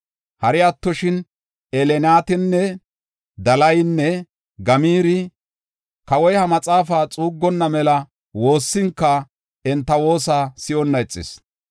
Hari attoshin Elnaatani, Dalaynne Gamaari kawoy he maxaafaa xuuggonna mela woossinka, enta woosa si7onna ixis.